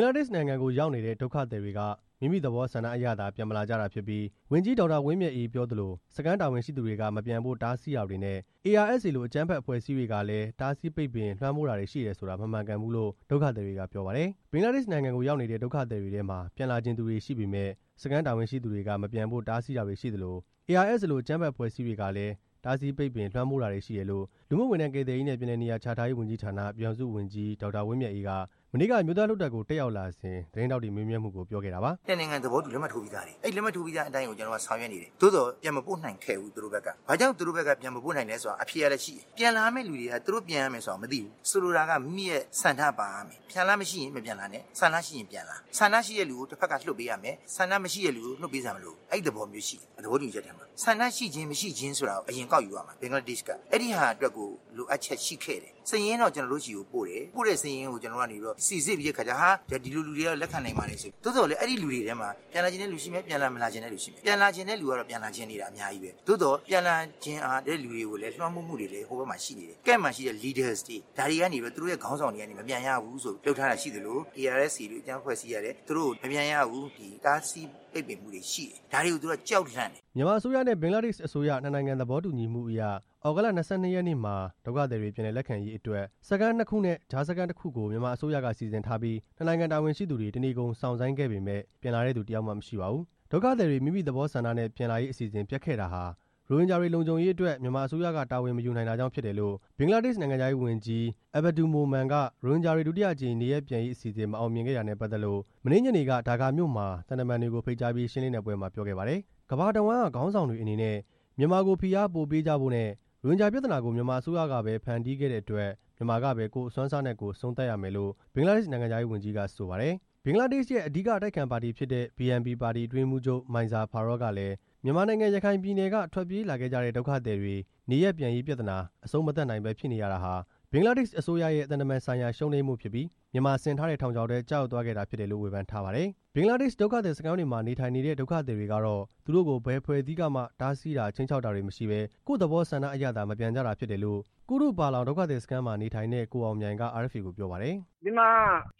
္ဂလားဒေ့ရှ်နိုင်ငံကိုရောက်နေတဲ့ ဒုက္ခသည်တွေက မိမိသဘောဆန္ဒအရသာ ပြန်မလာကြတာဖြစ်ပြီး ဝန်ကြီး ဒေါက်တာဝင်းမြတ်အေးပြောသလို စခန်းတာဝန်ရှိသူတွေက မပြန်ဖို့တားဆီးတာတွေနဲ့ ARSA လို အကြမ်းဖက် အဖွဲ့အစည်းတွေကလည်း တားဆီးပိတ်ပင် လွှမ်းမိုးတာတွေရှိတယ်ဆိုတာ မမှန်ကန်ဘူးလို့ ဒုက္ခသည်တွေက ပြောပါတယ်။ ဘင်္ဂလားဒေ့ရှ်နိုင်ငံကိုရောက်နေတဲ့ ဒုက္ခသည်တွေထဲမှာ ပြန်လာချင်သူတွေရှိပေမယ့် စခန်းတာဝန်ရှိသူတွေက မပြန်ဖို့ တားဆီးတာတွေရှိသလို ARSA လို အကြမ်းဖက် အဖွဲ့အစည်းတွေကလည်း တားဆီးပိတ်ပင် လွှမ်းမိုးတာတွေရှိတယ်လို့ လူမှုဝန်ထမ်း ကယ်ဆယ်ရေးနဲ့ ပြန်လည်နေရာချထားရေး ဝန်ကြီးဌာန ပြည်ထောင်စုဝန်ကြီး ဒေါက်တာ ဝင်းမြတ်အေးက မနေ့က အမျိုးသားလွှတ်တော်ကို တက်ရောက်လာစဉ် သတင်းထောက်တွေ မေးမြန်းမှုကို ပြောခဲ့တာပါ။ "နှစ်နိုင်ငံသဘောတူ လက်မှတ်ထိုးပြီးသားတွေ၊ အဲဒီသဘောတူလက်မှတ် ထိုးထားတဲ့အတိုင်းလည်း ဆောင်ရွက်နေတယ်၊ သို့သော် ပြန်မပို့နိုင်ခဲ့ဘူး သူတို့ဘက်က၊ ဘာကြောင့်သူတို့ဘက်က ပြန်မပို့နိုင်တာလည်းဆိုတာ အဖြေကလည်းရှိတယ်၊ ပြန်လာရမယ့်သူတွေက သူတို့ပြန်လာရမယ်ဆိုတာ မသိဘူး၊ ဆိုလိုတာက မိမိရဲ့ဆန္ဒပါရမယ်၊ ဆန္ဒမရှိရင် ပြန်မလာနဲ့၊ ဆန္ဒရှိရင် ပြန်လာ၊ ဆန္ဒရှိတဲ့သူကို တစ်ဖက်က လွှတ်ပေးရမယ်၊ ဆန္ဒမရှိတဲ့သူကို လွှတ်ပေးစရာမလိုဘူး၊ အဲ့သဘောမျိုးရှိတယ် သဘောတူညီချက်ထဲမှာ၊ ဆန္ဒရှိခြင်း မရှိခြင်းကို အရင်ကောက်ယူရမှာ ဘင်္ဂလားဒေ့ရှ်က၊ အဲဒီဟာအတွက်ကို လိုအပ်ချက်ရှိခဲ့တယ်၊ စာရင်းတော့ ကျွန်တော်တို့ဆီကိုပို့တယ်၊ ပို့တဲ့စာရင်းကို ကျွန်တော်ကနေပြီးတော့ စိစစ်ပြီးတော့အခါကျတော့ ဒီလိုလူတွေကတော့ လက်ခံနိုင်ပါတယ်ဆိုပြီး၊ သို့သော်လည်း အဲဒီလူတွေထဲမှာ ပြန်လာချင်တဲ့သူရှိမယ်၊ ပြန်မလာချင်တဲ့သူရှိမယ်၊ ပြန်လာချင်တဲ့သူတွေကတော့ ပြန်လာချင်တာအများကြီးပဲ၊ သို့သော် ပြန်လာချင်တဲ့သူတွေကိုလည်း လွှမ်းမိုးမှုတွေလည်း ဟိုဘက်မှာရှိနေတယ်၊ Camp မှာရှိတဲ့ Leaders တွေ ဒါတွေကနေပြီးတော့ သူတို့ရဲ့ ခေါင်းဆောင်တွေကနေပြီးတော့ မပြန်ရဘူးဆိုပြီး လုပ်ထားတာရှိသလို ARSA လို အကြမ်းဖက်အဖွဲ့အစည်းကလည်း သူတို့ကို မပြန်ရဘူး၊ တားဆီးပိတ်ပင်မှုတွေရှိတယ်၊ ဒါတွေကို သူတို့က ကြောက်လန့်နေတယ်" မြန်မာအစိုးရနဲ့ ဘင်္ဂလားဒေ့ရှ်အစိုးရ နှစ်နိုင်ငံသဘောတူညီမှုအရ သြဂုတ်လ ၂၂ ရက်နေ့မှာ ဒုက္ခသည်တွေ ပြန်လည်လက်ခံရေးအတွက် စခန်း နှစ်ခုနဲ့ ကြားစခန်း တစ်ခုကို မြန်မာအစိုးရက စီစဉ်ထားပြီး နှစ်နိုင်ငံ တာဝန်ရှိသူတွေ တနေကုန်စောင့်ဆိုင်းခဲ့ပေမယ့် ပြန်လာတဲ့သူတစ်ယောက်မှ မရှိခဲ့ပါဘူး။ ဒုက္ခသည်တွေ မိမိသဘောဆန္ဒနဲ့ ပြန်လာရေးအစီအစဉ်ပျက်ခဲ့တာဟာ ရိုဟင်ဂျာတွေ လုံခြုံရေးအတွက် မြန်မာအစိုးရက တာဝန်မယူနိုင်တာကြောင့် ဖြစ်တယ်လို့ ဘင်္ဂလားဒေ့ရှ် နိုင်ငံခြားရေးဝန်ကြီး အဗ္ဗဒူမိုမန်က ရိုဟင်ဂျာတွေ ဒုတိယအကြိမ် နေရပ်ပြန်ရေးအစီအစဉ် မအောင်မြင်ခဲ့တာနဲ့ ပတ်သက်လို့ မနေ့ညနေက ဒါကာမြို့မှာ သံတမန်တွေကို ဖိတ်ကြားပြီး ရှင်းလင်းတဲ့ပွဲမှာ ပြောခဲ့ပါတယ်။ ကမ္ဘာတဝှမ်းက ခေါင်းဆောင်တွေအနေနဲ့ မြန်မာကို ဖိအားပိုပေးကြဖို့နဲ့ ရိုဟင်ဂျာပြဿနာကို မြန်မာအစိုးရကပဲ ဖန်တီးခဲ့တဲ့အတွက် မြန်မာကပဲ ကိုယ့်အစွမ်းအစနဲ့ကိုယ် အဆုံးသတ်ရမယ်လို့ ဘင်္ဂလားဒေ့ရှ် နိုင်ငံခြားရေးဝန်ကြီးက ဆိုပါတယ်။ ဘင်္ဂလားဒေ့ရှ်ရဲ့ အဓိက အတိုက်အခံ ပါတီဖြစ်တဲ့ BNP ပါတီ အတွင်းရေးမှူးချုပ် မိုင်ဇာ ဖာရောကလည်း မြန်မာနိုင်ငံ ရခိုင်ပြည်နယ်က ထွက်ပြေးလာခဲ့ကြတဲ့ဒုက္ခသည်တွေ နေရပ်ပြန်ရေးပြဿနာ အဆုံးမသတ်နိုင်ဘဲ ဖြစ်နေရတာဟာ ဘင်္ဂလားဒေ့ရှ်အစိုးရရဲ့ သံတမန်ဆိုင်ရာ ရှုံးနိမ့်မှုဖြစ်ပြီး၊ မြန်မာဆင်ထားတဲ့ ထောင်ချောက်ထဲ ကျရောက်သွားခဲ့ရတာဖြစ်တယ်လို့ ဝေဖန်ထားပါတယ်။ ဘင်္ဂလားဒေ့ရှ်က ဒုက္ခသည်စခန်းတွေမှာ နေထိုင်နေတဲ့ ဒုက္ခသည်တွေကတော့ သူတို့ကို ဘယ်အဖွဲ့အစည်းကမှ တားဆီးတာ ခြိမ်းခြောက်တာတွေမရှိဘဲ ကိုယ့်သဘောဆန္ဒအရသာ မပြန်ကြတာဖြစ်တယ်လို့ ကုတုပါလောင် ဒုက္ခသည်စခန်းမှာနေထိုင်တဲ့ ကိုအောင်မြိုင်က RFA ကိုပြောပါတယ်။ "ဒီမှာ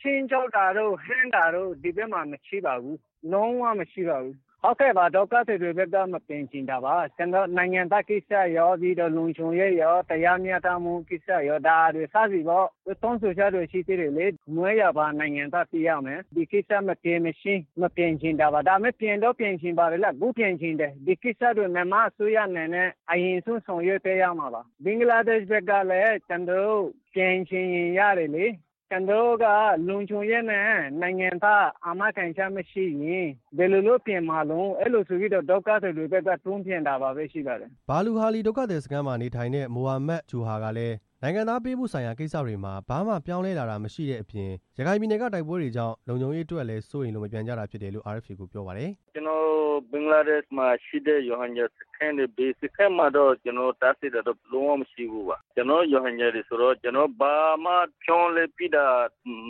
ခြိမ်းခြောက်တာတို့ ဟန့်တာတို့ ဒီဘက်မှာ မရှိပါဘူး၊ လုံး၀ မရှိပါဘူး၊ ဟုတ်ကဲ့ပါ ဒုက္ခသည်တွေဘက်က မပြန်ချင်တာပါ၊ နိုင်ငံသားကိစ္စရော ပြီးတော့ လုံခြုံရေးရော တရားမျှတမှုကိစ္စရော စသည်ပေါ့၊ ပြီးတော့ တောင်းဆိုချက်တွေ ရှိသေးတယ်လေ၊ မွေးရာပါ နိုင်ငံသားဖြစ်ရမယ်၊ ဒီကိစ္စမဖြစ်မချင်း မပြန်ချင်တာပါ၊ ဒါပေမဲ့ ပြန်တော့ပြန်ချင်တယ်လေ၊ အခုပြန်ချင်တယ်၊ အဲ့ကိစ္စတွေကို မြန်မာအစိုးရအနေနဲ့ အရင်ဆုံးဆောင်ရွက်ပေးရမှာပါ၊ ဘင်္ဂလားဒေ့ရှ်ဘက်ကလည်း ကျွန်တော်တို့ ပြန်ချင်ရင်ရတယ်လေ၊ ကျွန်တော်တို့က လုံခြုံရေးနဲ့ နိုင်ငံသား အာမခံချက်မရှိရင် ဘယ်လိုလုပ်ပြန်မှာတုန်း၊ အဲ့လိုဆိုပြီးတော့ ဒုက္ခသည်တွေဘက် ဆုံးဖြတ်ပြီး မပြန်တာပဲရှိပါတယ်" ဘာလူဟာလီ ဒုက္ခသည်စခန်းမှာနေထိုင်တဲ့ မိုဟာမက်ဂျူဟာရ်ကလည်း နိုင်ငံသားပေးမှုဆိုင်ရာ ကိစ္စတွေမှာ ဘာမှပြောင်းလဲလာတာမရှိတဲ့အပြင် ရခိုင်ပြည်နယ်က တိုက်ပွဲတွေကြောင့် လုံခြုံရေးအတွက်လည်း စိုးရိမ်လို့ မပြန်ကြတာဖြစ်တယ်လို့ RFA ကို ပြောပါတယ်။ "ကျွန်တော်တို့ ဘင်္ဂလားဒေ့ရှ်မှာရှိတဲ့ ရိုဟင်ဂျာစခန်းတွေ ဘယ်စခန်းမှတော့ တားဆီးတာတော့ လုံးဝမရှိပါဘူး၊ ကျွန်တော်တို့ ရိုဟင်ဂျာတွေဆိုတော့ ကျွန်တော်တို့ ဘာမှပြောင်းလဲပေးတာ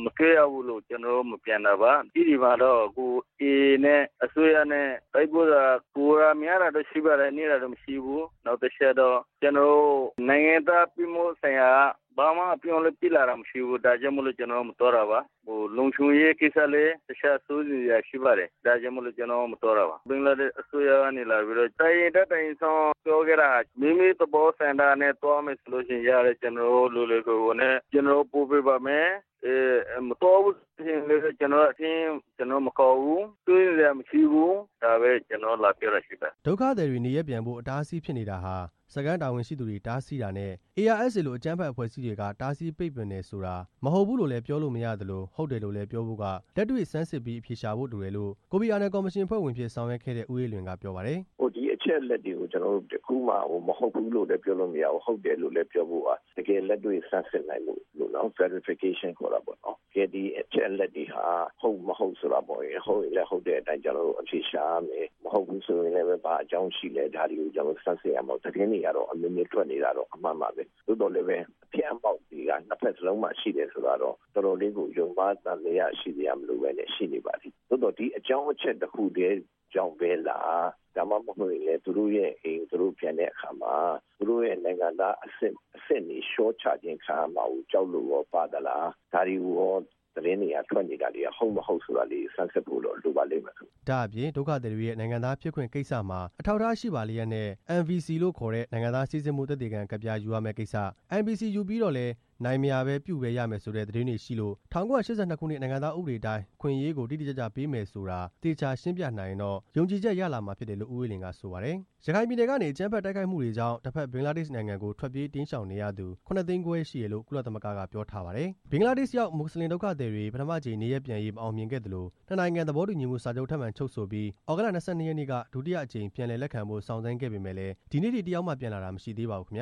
မတွေ့ရဘူးမို့ ကျွန်တော်တို့ မပြန်တာပါ၊ အဲဒီမှာတော့ အခု AA နဲ့ အစိုးရနဲ့ တိုက်ပွဲက ပိုသာများလာတာပဲရှိပါတယ်၊ နည်းလာတာတော့ မရှိဘူး၊ နောက်တစ်ချက်ကတော့ ကျွန်တော်တို့ နိုင်ငံသားဖြစ်မှုဆိုင်ရာက ဘာမှအပြောင်းအလဲ ဖြစ်လာတာမရှိဘူး၊ ဒါကြောင့်မို့လို့ ကျွန်တော်တို့ မသွားတာပါ၊ လုံခြုံရေးကိစ္စလည်း တစ်ချက်စိုးရိမ်စရာရှိပါတယ်၊ ဒါကြောင့်မို့လို့ ကျွန်တော်တို့ မသွားတာပါ၊ ဘင်္ဂလားဒေ့ရှ် အစိုးရကနေလာပြီးတော့ တစ်အိမ်တက်တစ်အိမ်ဆင်း ပြောခဲ့တာက မိမိသဘောဆန္ဒနဲ့ သွားမယ်ဆိုရတယ်၊ လွယ်လွယ်ကူကူနဲ့ ကျွန်တော်တို့ ပို့ပေးပါမယ်၊ မသွားဘူးဆိုလို့ရှိရင်လည်းပဲ ကျွန်တော်တို့ စာရင်းကို မကောက်ဘူး၊ စိုးရိမ်စရမရှိဘူး ဒါပဲ ကျွန်တော်တို့ကို လာပြောတာရှိပါတယ်" ဒုက္ခသည်တွေနေရပ်ပြန်ဖို့ အတားအဆီးဖြစ်နေတာဟာ စခန်းတာဝန်ရှိသူတွေ တားဆီးတာနဲ့ ARSA လို အကြမ်းဖက် အဖွဲ့အစည်းတွေက တားဆီးပိတ်ပင်တယ်ဆိုတာ မဟုတ်ဘူးလို့လည်း ပြောလို့မရသလို ဟုတ်တယ်လို့လည်းပြောဖို့က လက်တွေ့ဆန်းစစ်ပြီး အဖြေရှာဖို့လိုတယ်လို့ ကိုဖီအာနန်ကော်မရှင်အဖွဲ့ဝင်အဖြစ် ဆောင်ရွက်ခဲ့တဲ့ ဦးအေးလွင်က ပြောပါတယ်။ "ဒီအချက်အလက်တွေကို ကျွန်တော်တို့က တစ်ခုမှမဟုတ်ဘူးလို့လည်း ပြောလို့မရဘူး၊ ဟုတ်တယ်လို့လည်း ပြောဖို့က တကယ်လက်တွေ့ဆန်းစစ်နိုင်ဖို့ Verification ခေါ်တာပေါ့နော်၊ ကဲဒီအချက်အလက်တွေဟာ ဟုတ် မဟုတ်ဆိုတာပေါ့၊ ဟုတ်ရင်လည်း ဟုတ်တဲ့အတိုင်း ကျွန်တော်တို့ အဖြေရှာရမယ်၊ မဟုတ်ဘူးဆိုရင်လည်း ဘာအကြောင်းရှိလဲ ဒါတွေကို ဆန်းစစ်ရမှာပေါ့၊ သတင်းတွေကတော့ အမျိုးမျိုးထွက်နေတာတော့ အမှန်ပါပဲ၊ သို့သော်လည်းပဲ အဖျတ်အမှောက်တွေက နှစ်ဖက်စလုံးမှာ ရှိတယ်ဆိုတာတော့ တော်တော်လေးကို ယုံမှားသံသယမလိုပဲနဲ့ ရှိနေပါတယ်၊ သို့သော်ဒီအကြောင်း အချက်တစ်ခုတည်းကြောင့်ပဲလား ဒါမှမဟုတ်ရင်လည်း သူတို့ရဲ့အိမ်ကို သူတို့ပြန်တဲ့အခါမှာ သူတို့ရဲ့ နိုင်ငံသားအဆင့် အဆင့်တွေလျှော့ချခြင်းခံရမျာကို ကြောက်လို့ရော ပါသလား၊ ဒါတွေကိုရော သတင်းတွေက ထွက်နေတာတွေ ဟုတ်မ ဟုတ်ဆိုတာလေးကို ဆန်းစစ်ဖို့တော့လိုပါလိ့မ်မယ်" ဒါ့အပြင် ဒုက္ခသည်တွေရဲ့ နိုင်ငံသားဖြစ်ခွင့်ကိစ္စမှာ အထောက်အထားရှိပါလျက်နဲ့ NVC လို့ခေါ်တဲ့ နိုင်ငံသား စိစစ်မှုသက်သေခံကတ်ပြား ယူရမယ့်ကိစ္စ၊ NVC ယူပြီးတော့လည်း မရဘဲ ပဲ ရမယ်ဆိုတဲ့ သတင်းတွေရှိလို့ ၁၉၈၂ ခုနှစ် နိုင်ငံသားဥပဒေတိုင်း အခွင့်အရေးတွေကို တိတိကျကျပေးမယ်ဆိုတာ သေချာရှင်းပြနိုင်ရင်တော့ ယုံကြည်ချက်ရလာမှာဖြစ်တယ်လို့ ဦးအေးလွင်က ဆိုပါတယ်။ ရခိုင်ပြည်နယ်ကနေ အကြမ်းဖက်တိုက်ခိုက်မှုတွေကြောင့် တစ်ဖက်ဘင်္ဂလားဒေ့ရှ်နိုင်ငံကို ထွက်ပြေးတိမ်းရှောင်နေရသူ ၇ သိန်းခွဲရှိတယ်လို့ ကုလသမဂ္ဂကပြောထားပါတယ်။ ဘင်္ဂလားဒေ့ရှ်ရောက် မွတ်စလင်ဒုက္ခသည်တွေ ပထမအကြိမ် နေရပ်ပြန်ရေး မအောင်မြင်ခဲ့သလို၊ နှစ်နိုင်ငံ သဘောတူညီမှုစာချုပ်ထပ်မံချုပ်ဆိုပြီး သြဂုတ်လ ၂၂ ရက်နေ့က ဒုတိယအကြိမ်ပြန်လည် လက်ခံဖို့စောင့်ဆိုင်းခဲ့ပေမယ့်လည်း ဒီနေ့အထိ တစ်ယောက်မှ ပြန်လာတာ မရှိသေးပါဘူး။ (RFA သတ